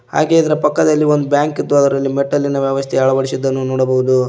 ಹಾಗೇ ಇದರ ಪಕ್ಕದಲ್ಲಿ ಒಂದು ಬ್ಯಾಂಕ್ ಇದ್ದು ಅದರಲ್ಲಿ ಮೆಟ್ಟಲಿನ ವ್ಯವಸ್ಥೆ ಅಳವಡಿಸಿದ್ದನ್ನು ನೋಡಬಹುದು.